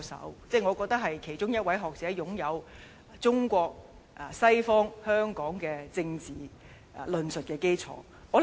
我認為他是其中一位擁有中國西方香港政治論述基礎的學者。